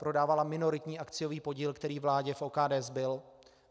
Prodávala minoritní akciový podíl, který vládě v OKD zbyl.